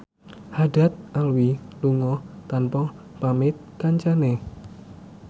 Haddad Alwi lunga tanpa pamit kancane